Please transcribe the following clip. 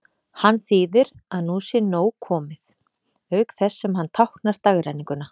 Hann þýðir að nú sé nóg komið, auk þess sem hann táknar dagrenninguna.